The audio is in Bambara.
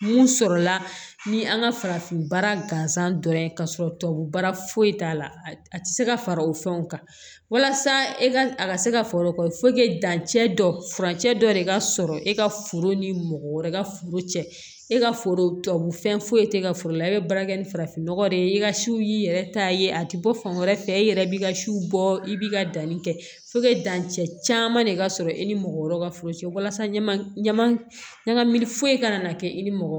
Mun sɔrɔla ni an ka farafin baara gansan dɔrɔn ye ka sɔrɔ tubabu baara foyi t'a la a tɛ se ka fara o fɛnw kan walasa e ka a ka se ka foro kɔ dancɛ dɔ furancɛ dɔ de ka sɔrɔ e ka foro ni mɔgɔ wɛrɛ ka foro cɛ e ka foro fɛn foyi tɛ ka foro la i be baara kɛ ni farafinnɔgɔ de ye i ka siw y'i yɛrɛ ta ye a tɛ bɔ fan wɛrɛ fɛ e yɛrɛ b'i ka siw bɔ i b'i ka danni kɛ dancɛ caman de ka sɔrɔ i ni mɔgɔ wɛrɛw ka foro cɛ walasa ɲaman ɲami foyi kana na kɛ i ni mɔgɔ